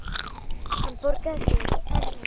Hann bograði yfir henni.